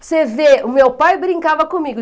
Você vê, o meu pai brincava comigo.